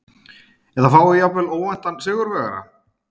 Eða fáum við jafnvel óvæntan sigurvegara?